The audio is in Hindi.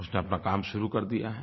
उसने अपना काम शुरू कर दिया है